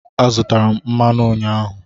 Azụtara m mmanụ ụnyaahụ.